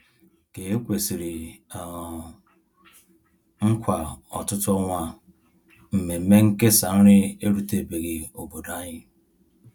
Ka e kwesịrị um nkwa ọtụtụ ọnwa, mmemme nkesa nri erutebeghị obodo anyị.